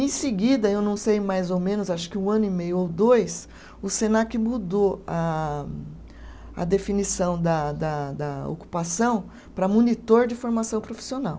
Em seguida, eu não sei mais ou menos, acho que um ano e meio ou dois, o Senac mudou a a definição da da da ocupação para monitor de formação profissional.